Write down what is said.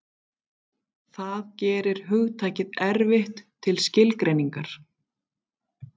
Það gerir hugtakið erfitt til skilgreiningar.